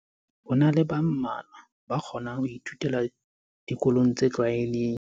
Ho na le ba mmalwa ba kgona ho ithutela dikolong tse tlwaelehileng.